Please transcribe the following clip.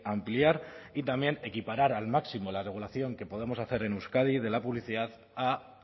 ampliar y también equiparar al máximo la regulación que podemos hacer en euskadi de la publicidad a